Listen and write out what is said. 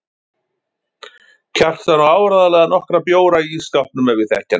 Kjartan á áreiðanlega nokkra bjóra í ísskápnum ef ég þekki hann rétt.